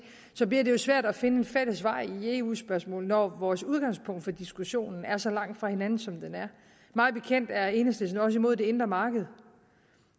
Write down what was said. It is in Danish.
det bliver svært at finde en fælles vej i eu spørgsmålet når vores udgangspunkter for diskussionen er så langt fra hinanden som de er mig bekendt er enhedslisten også imod det indre marked